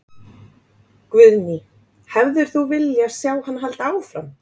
Guðný: Hefðir þú vilja sjá hann halda áfram?